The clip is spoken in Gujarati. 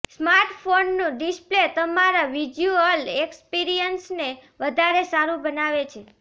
સ્માર્ટફોનનું ડિસ્પ્લે તમારા વિઝ્યુઅલ એક્સપીરિયન્સને વધારે સારું બનાવે છે